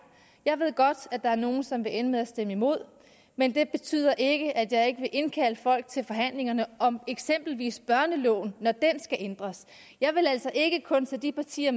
jeg ved godt at der er nogle som vil ende med at stemme imod men det betyder ikke at jeg ikke vil indkalde folk til forhandlinger om eksempelvis børneloven når den skal ændres jeg vil altså ikke kun tage de partier